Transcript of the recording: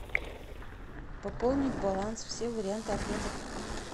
пополнить баланс все варианты ответов